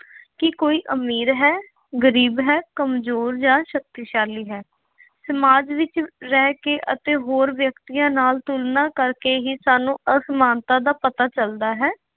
ਕਿ ਕੋਈ ਅਮੀਰ ਹੈ, ਗਰੀਬ ਹੈ, ਕਮਜ਼ੋਰ ਜਾਂ ਸ਼ਕਤੀਸ਼ਾਲੀ ਹੈ। ਸਮਾਜ ਵਿੱਚ ਰਹਿ ਕੇ ਅਤੇ ਹੋਰ ਵਿਅਕਤੀਆਂ ਨਾਲ ਤੁਲਨਾ ਕਰਕੇ ਹੀ ਸਾਨੂੰ ਅਸਮਾਨਤਾ ਦਾ ਪਤਾ ਚੱਲਦਾ ਹੈ।